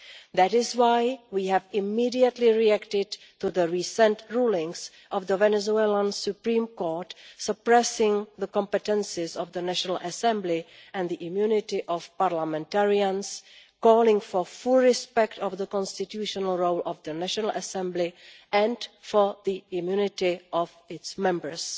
That is why we reacted immediately to the recent rulings of the Venezuelan Supreme Court suppressing the competences of the National Assembly and the immunity of parliamentarians, calling for full respect of the constitutional role of the National Assembly and for the immunity of its members.